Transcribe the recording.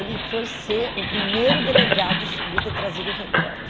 Ele foi ser o primeiro delegado... Devia ter trazido o recorte.